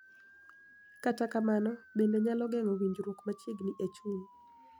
Kata kamano, bende nyalo geng�o winjruok machiegni e chuny,